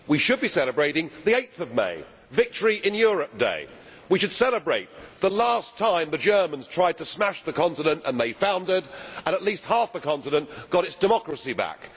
we should be celebrating 8 May Victory in Europe Day. We should celebrate the last time the Germans tried to smash the continent and they foundered and at least half the continent got its democracy back.